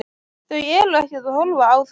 Þau eru ekkert að horfa á þetta?